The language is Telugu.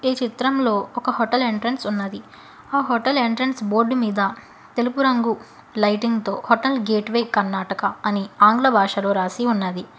ఈ చిత్రంలో ఒక హోటల్ ఎంట్రెన్స్ ఉన్నది ఆ హోటల్ ఎంట్రెన్స్ బోర్డు మీద తెలుపు రంగు లైటింగ్ తో హోటల్ గేట్వే కర్ణాటక అని ఆంగ్ల భాషలో రాసి ఉన్నది.